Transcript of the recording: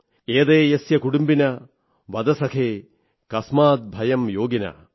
ഏതേ യസ്യ കുടിമ്ബിനഃ വദ സഖേ കാസ്മാദ് ഭയം യോഗിനഃ